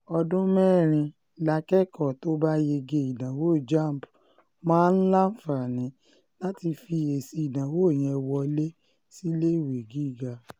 ọdún mẹ́rin lákẹ́kọ̀ọ́ tó bá yege ìdánwò jamb máa láǹfààní láti fi èsì ìdánwò yẹn wọlé síléèwé gíga